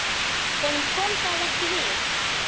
Honum kom það ekki við.